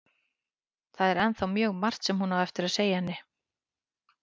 Það er ennþá mjög margt sem hún á eftir að segja henni.